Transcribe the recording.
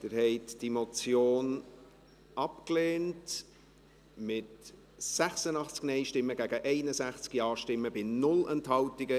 Sie haben diese Motion abgelehnt, mit 86 Nein- gegen 61 Ja-Stimmen bei 0 Enthaltungen.